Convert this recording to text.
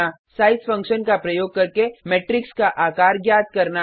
size function का प्रयोग करके मेट्रिक्स का आकार ज्ञात करना